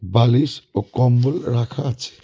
বালিশ ও কম্বল রাখা আছে।